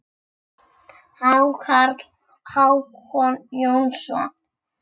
Hákarl: Hákon Jónsson